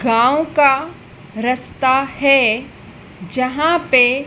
गांव का रस्ता है जहां पे--